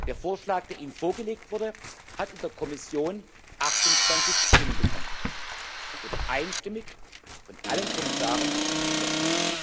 Der Vorschlag, der Ihnen vorgelegt wurde, hat in der Kommission 28 Stimmen bekommen. Er wurde einstimmig von allen Kommissaren beschlossen.